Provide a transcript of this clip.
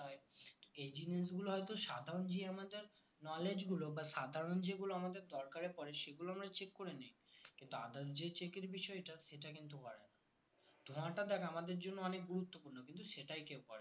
এ জিনিসগুলো হয়তো সাধারণ যে আমাদের knowledge গুলো বা সাধারণ যেগুলো আমাদের দরকার এ পরে এগুলো আমরা check করে নেই কিন্তু others যে check এর বিষয়টা সেটা কিন্তু করে না ধোঁয়াটা দেখ আমাদের জন্য অনেক গুরুত্ত্বপূর্ণ কিন্তু সেটাই কেউ করে না